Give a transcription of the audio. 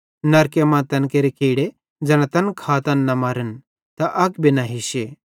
नरके मां तैन केरे कीड़े ज़ैना तैन खातन न मरन त अग भी न हिश्शे